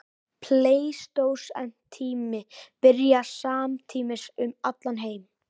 Pleistósentími byrjar samtímis um allan heim.